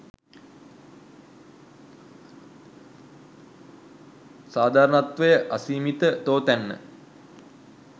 සාධාරණත්වය අසීමිත තෝතැන්න